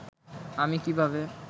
আমি কীভাবে